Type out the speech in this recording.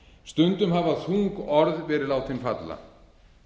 stundum hafa þung orð verið látin falla